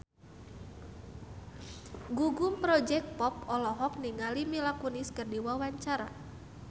Gugum Project Pop olohok ningali Mila Kunis keur diwawancara